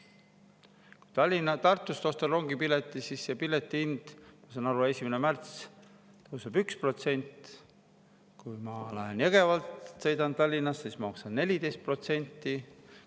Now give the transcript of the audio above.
Kui Tartust ostan rongipileti Tallinna, siis see pileti hind, ma saan aru, 1. märtsist tõuseb 1%, aga kui ma lähen Jõgevalt peale ja sõidan Tallinnasse, maksan 14%.